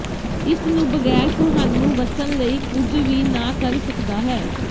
ਇਸ ਨੂੰ ਬਗੈਰ ਤੁਹਾਨੂੰ ਵਸਣ ਲਈ ਕੁਝ ਵੀ ਨਾ ਕਰ ਸਕਦਾ ਹੈ